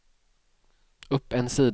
upp en sida